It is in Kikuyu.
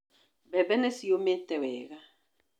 Mbembe nĩ ciũmĩte wega.